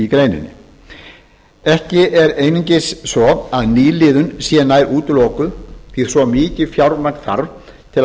greininni ekki er einungis að nýliðun sé nær útilokuð því svo mikið fjármagn þarf til að